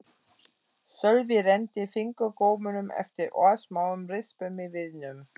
Sölvi renndi fingurgómunum eftir örsmáum rispum í viðnum.